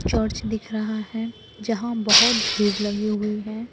Church दिख रहा है जहां बहोत भीड़ लगी हुई है।